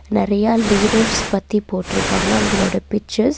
நெறையா லீடர்ஸ் பத்தி போட்ருக்காங்க அவங்களோட பிச்சர்ஸ் .